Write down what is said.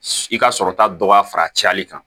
I ka sɔrɔta dɔ ka fara cɛli kan